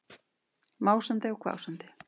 Másandi og hvásandi.